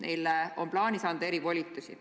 Neile on plaanis anda erivolitusi.